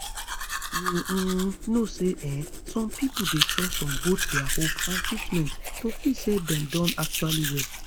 you um know say um some pipo dey trust on both dia hope and treatment to feel say dem don actually well